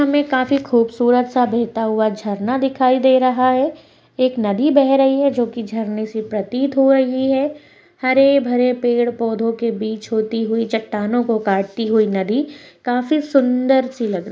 इस चित्र मे काफी खुबसूरत सा बेहता हुआ झरना दिखाई दे रहा है एक नदि बेह रही है जो की झरने से प्रतित हो रही है हरेभरे पेड़पौधों के बीच होती हुई चट्टानों को काटती हुई नदि काफी सुंदर सी लग रही है।